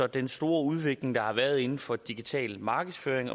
den store udvikling der har været inden for digital markedsføring